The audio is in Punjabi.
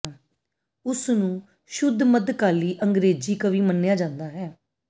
ਉਸ ਨੂੰ ਸ਼ੁੱਧ ਮੱਧਕਾਲੀ ਅੰਗਰੇਜ਼ੀ ਕਵੀ ਮੰਨਿਆ ਜਾਂਦਾ ਹੈ